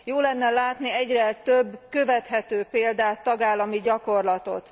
Jó lenne látni egyre több követhető példát, tagállami gyakorlatot.